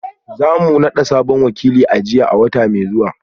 Za mu nada sabon wakilin aji a wata mai zuwa